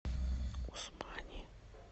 усмани